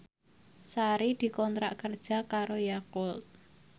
Sari dikontrak kerja karo Yakult